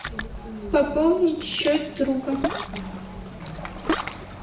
пополнить счет друга